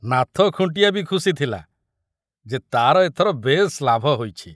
ନାଥ ଖୁଣ୍ଟିଆ ବି ଖୁସି ଥୁଲା ଯେ ତାର ଏଥର ବେଶ ଲାଭ ହୋଇଛି।